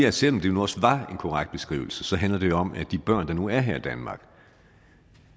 at selv om det nu også var en korrekt beskrivelse så handler det jo om at de børn der nu engang er her i danmark